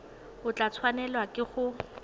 o tla tshwanelwa ke go